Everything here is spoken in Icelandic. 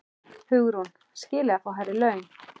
Hugrún: Skilið að fá hærri laun?